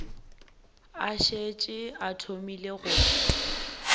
a šetše a thomile go